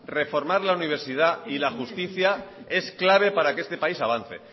reformar la universidad y la justicia es clave para que este país avance